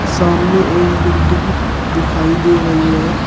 सामने एक बिल्डिंग दिखाई दे रही है।